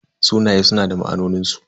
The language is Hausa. Sunaye suna da ma'anonin su.